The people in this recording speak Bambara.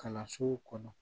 Kalansow kɔnɔ